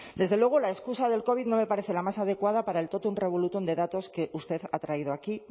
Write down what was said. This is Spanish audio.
desde luego la excusa del covid no me parece la más adecuada para el totum revolutum de datos que usted ha traído aquí